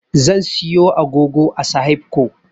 Zan siyo agogo a sahaibco